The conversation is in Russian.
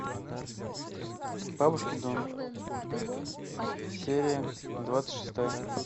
бабушкин дом серия двадцать шестая